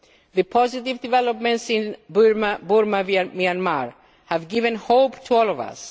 The positive developments in Burma Myanmar have given hope to all